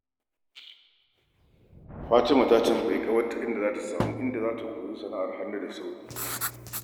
Fatima ta tambayi ƙawar ta inda za ta iya koyon sana’ar hannu cikin sauri.